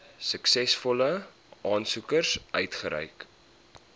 suksesvolle aansoekers uitgereik